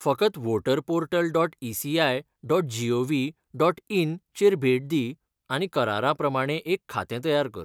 फकत voter portal dot ECI dot gov dot in चेर भेट दी आनी करारा प्रमाणें एक खातें तयार कर.